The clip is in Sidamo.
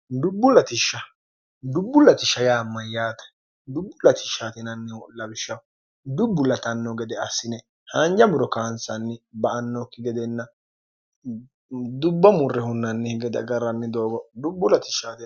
dbbdbbuls m yaatedubbulsnhu lwishshhdubbu la0nno gede assine haanja muro kaansanni ba annookki gedenna dubba murre hunnannihi gede agarranni doogo dubbu lis